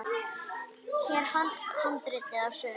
Hér er handrit að sögu.